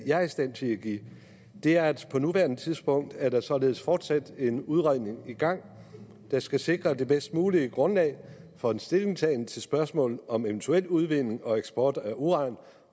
jeg er i stand til at give er at på nuværende tidspunkt er der således fortsat en udredning i gang der skal sikre det bedst mulige grundlag for en stillingtagen til spørgsmålet om eventuel udvinding og eksport af uran